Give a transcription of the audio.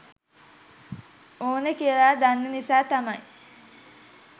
ඕන කියල දන්න නිසා තමයි